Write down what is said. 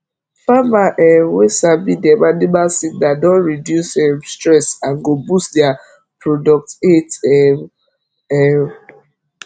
farmer um wey sabi dem animal signal don reduce um stress and go boost their product8 um um